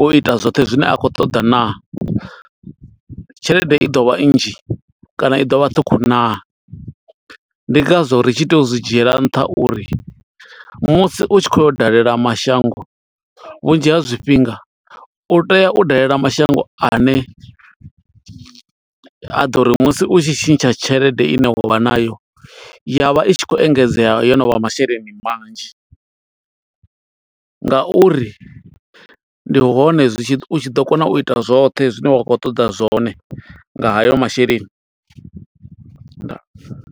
u ita zwoṱhe zwine a khou ṱoḓa naa? Tshelede i ḓo vha nnzhi, kana i ḓo vha ṱhukhu naa? Ndi nga zwo ri tshi tea u zwi dzhiela nṱha uri musi u tshi khou yo dalela mashango, vhunzhi ha zwifhinga u tea u dalela mashango ane a ḓo ri musi u tshi tshintsha tshelede ine wa nayo, yavha i tshi khou engedzea yo novha masheleni manzhi. Nga uri ndi hone zwi tshi ḓo, u tshi ḓo kona u ita zwoṱhe zwine wa khou ṱoḓa zwone, nga hayo masheleni. Ndaa.